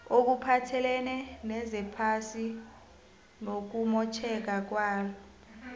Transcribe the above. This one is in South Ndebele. okuphathelene nezephasi nokumotjheka kwalo